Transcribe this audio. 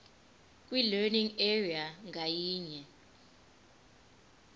kwilearning area ngayinye